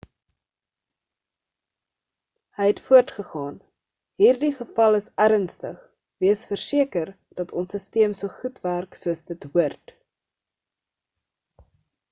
hy het voortgegaan hierdie geval is ernstig wees verseker dat ons sisteem so goed werk soos dit hoort